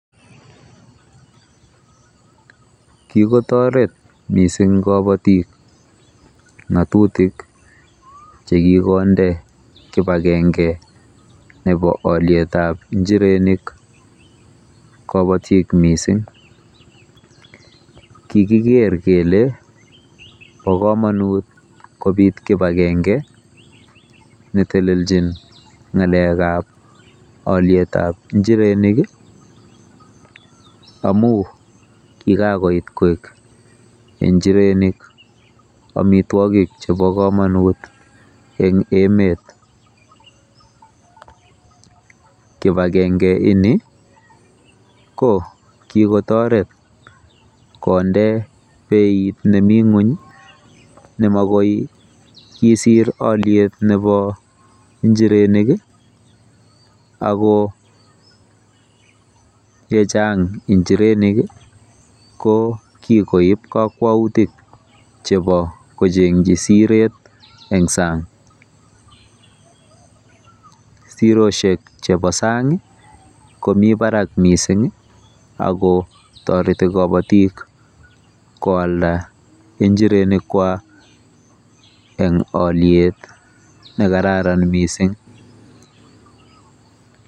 Kikotoret mising kobotik ng'atutik chekikonde kipagenge nepo olietap njirenik kopotik mising. Kikiker kele bo komonut kobit kibakenge neteleljin olietab njirenik amu kikakoit njirenik koek omitwogik chebo komonut eng emet. Kibagenge ini ko kikotoret konde beit nebo ng'ony ne makoikisir oliet nebo njirenik ako ye chang njirenik kikoib kakwautik chebo kocheng'chi siret eng sang. Siroshek chebo sang komi barak mising oliet akotoreti kobotik koalda njirenikwa eng oliet nekararan mising.